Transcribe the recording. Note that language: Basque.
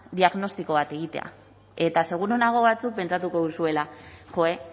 diagnostiko bat egitea eta seguru nago batzuk pentsatuko duzuela joe